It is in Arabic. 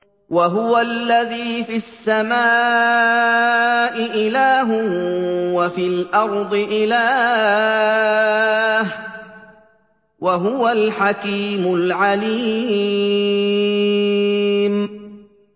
وَهُوَ الَّذِي فِي السَّمَاءِ إِلَٰهٌ وَفِي الْأَرْضِ إِلَٰهٌ ۚ وَهُوَ الْحَكِيمُ الْعَلِيمُ